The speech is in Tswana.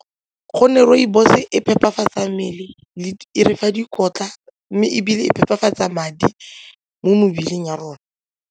Gonne rooibos e phepafatsa mmele, e re fa dikotla mme ebile e phepafatsa madi mo mebeleng ya rona.